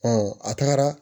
a tagara